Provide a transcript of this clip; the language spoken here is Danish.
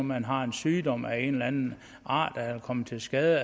man har en sygdom af en eller anden art er kommet til skade